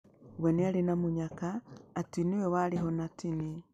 We nĩarĩ na mũnyaka atĩ nĩwe warĩ ho na ti niĩ.